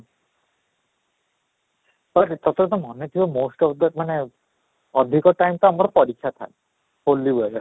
ତୋତେ ତ ମାନେ କିଏ most of the ମାନେ ଅଧିକ time ତ ଆମର ପରୀକ୍ଷା ଥାଏ ହୋଲି ବେଳେ